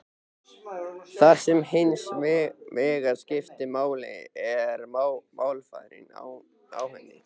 Það sem hins vegar skiptir máli er málfarið á henni.